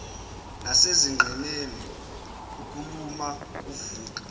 nasezinqeni ukuluma kuvuka